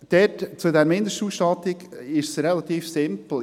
Bei dieser Mindestausstattung ist es relativ simpel.